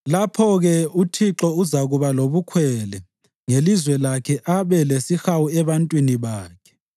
Lapho-ke uThixo uzakuba lobukhwele ngelizwe lakhe abe lesihawu ebantwini bakhe.